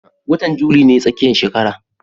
Watan juli ne tsakiyar shekara